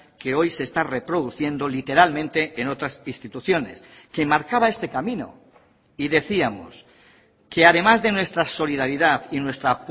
que hoy se está reproduciendo literalmente en otras instituciones que marcaba este camino y decíamos que además de nuestra solidaridad y nuestra